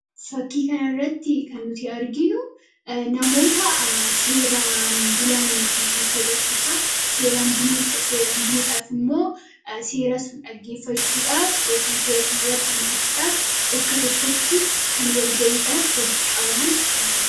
Fakkii kanarraatti kan nuti arginu namoota seeraan bulan nutti agarsiisa. Seeraan buluun seeraan buluudhaaf immoo seera sun dhaggeeffachuudhaaf yookaan seera sunirratti hirmaachuudhaaf bakka tokkotti kan walgahiidhaaf walitti qabaman. Ee agarsiisa.